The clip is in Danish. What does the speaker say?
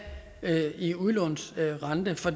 i udlånsrente for